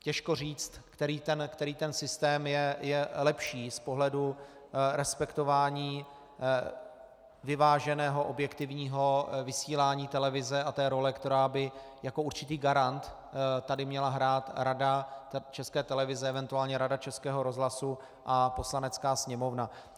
Těžko říct, který ten systém je lepší z pohledu respektování vyváženého, objektivního vysílání televize a té role, kterou by jako určitý garant tady měla hrát Rada České televize, eventuálně Rada Českého rozhlasu a Poslanecká sněmovna.